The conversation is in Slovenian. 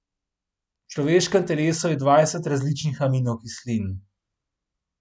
V človeškem telesu je dvajset različnih aminokislin.